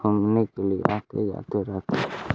घूमने के लिए आते जाते रहते हैं।